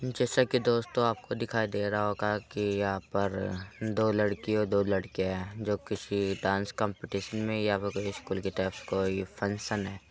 जैसा कि दोस्तों आप को दिखाई दे रहा होगा की यहाँ पर दो लड़की और दो लड़के हैं जो किसी डास कॉमपीटीशन में या फिर कोई स्कूल की तरफ कोई फंक्शन है।